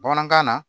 Bamanankan na